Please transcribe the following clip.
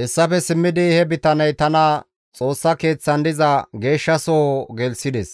Hessafe simmidi he bitaney tana Xoossa Keeththan diza Geeshshasoho gelththides.